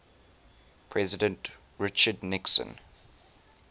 president richard nixon